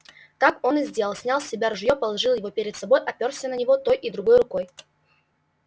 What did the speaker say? так он и сделал снял с себя ружье положил его перед собой оперся на него той и другой рукой